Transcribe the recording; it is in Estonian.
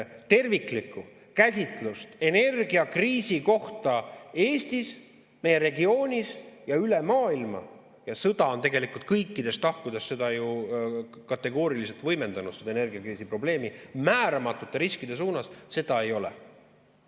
Terviklikku käsitlust energiakriisi kohta Eestis, meie regioonis ja üle maailma – sõda on tegelikult kõikides tahkudes seda energiakriisiprobleemi ju kategooriliselt võimendanud määramatute riskide suunas – ei ole.